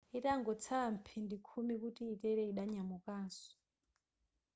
itangotsala mphindi khumi kuti yitere yidanyamukanso